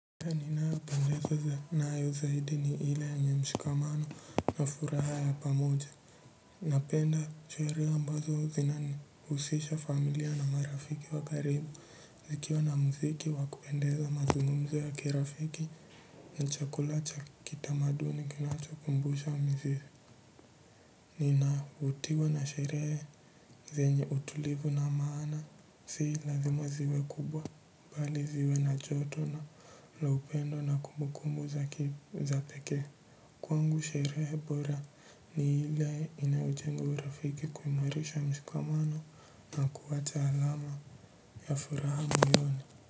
Aina ninayopendezwa nayo zaidi ni ile yenye mshikamano na furaha ya pamoja. Napenda sherehe ambazo zinanihusisha familia na marafiki wa karibu zikiwa na mziki wa kupendeza mazungumzo ya kirafiki na chakula cha kitamaduni kinachokumbusha mzizi. Ninavutiwa na sherehe zenye utulivu na maana si lazima ziwe kubwa bali ziwe na joto na la upendo na kumbukumbu za pekee kwangu sherehe bora ni ile inajenga urafiki kuimarisha mshikamano na kuwacha alama ya furaha moyoni.